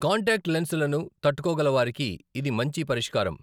Contact లెన్స్లను తట్టుకోగల వారికి ఇది మంచి పరిష్కారం.